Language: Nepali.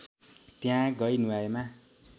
त्यहाँ गई नुहाएमा